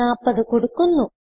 40 കൊടുക്കുന്നു